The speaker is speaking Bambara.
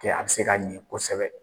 an bi se ka ɲɛ kosɛbɛ